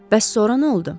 Bəs sonra nə oldu?